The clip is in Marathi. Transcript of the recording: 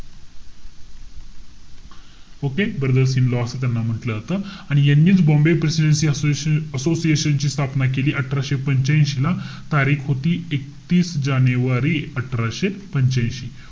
Okay? Brothers in law असं त्यांना म्हंटल जातं. आणि यांनीच बॉम्बे प्रेसिडेन्सी असो~ असोशिएशनची स्थापना केली. अठराशे पंच्यांशी ला. तारीख होती, एकतीस जानेवारी अठराशे पंच्यांशी.